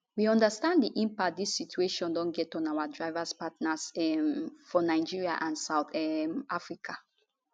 we understand di impact dis situation don get on our driverpartners um for nigeria and south um africa